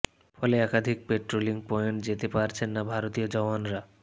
ফলে একাধিক patrolling point যেতে পারছেন না ভারতীয় জওয়ানরা